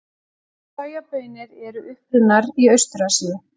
Sojabaunir eru upprunnar í Austur-Asíu.